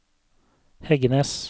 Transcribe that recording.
Heggenes